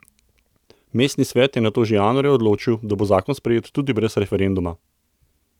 Mestni svet je nato že januarja odločil, da bo zakon sprejet tudi brez referenduma.